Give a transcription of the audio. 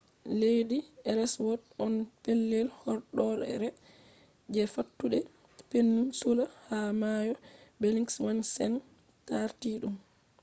ledii elswot on pellel horɗoore je fattude peninsula ha mayo belingshawsen tarti ɗum